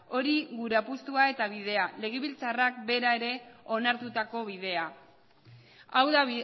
hori gure apustua eta bidea legebiltzarrak bera ere onartutako bidea hau da